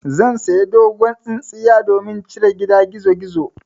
Zan saya dogon tsintsiya domin cire gida gizogizo.